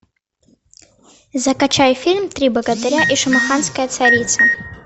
закачай фильм три богатыря и шамаханская царица